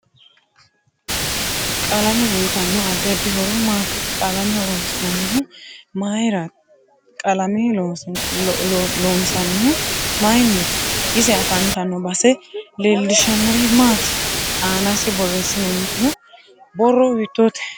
Qalame uyiitano addi addi horo maati qalame horoonisinanihu mayiira qalame loonsanihu mayiiniti ise afantanno base leelishanori maati aanase boreesantino borro hiitoote